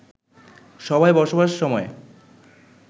সভায় বসবার সময়